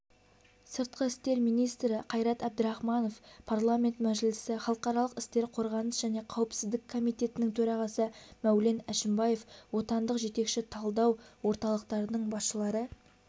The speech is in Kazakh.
сыртқы істер министрі қайрат әбдірахманов парламент мәжілісі халықаралық істер қорғаныс және қауіпсіздік комитетінің төрағасы мәулен әшімбаев отандық жетекші талдау орталықтарының басшылары